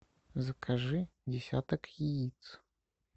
закажи десяток яиц